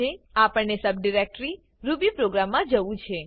આપણને sub directory Ruby program મા જવું છે